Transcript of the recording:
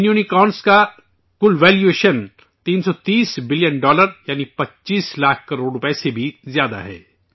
ان unicorns کا کل valuation 330 billion dollar, یعنی 25 لاکھ کروڑ روپئے سے بھی زیادہ ہے